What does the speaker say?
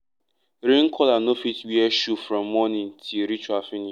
rain caller no fit wear shoe from morning till ritual finish